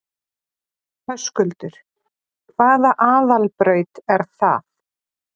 Höskuldur: Hvaða aðalbraut er það?